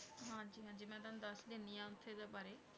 ਦਸ ਦੇਣੀ ਆਂ ਓਥੇ ਦੇ ਬਾਰੇ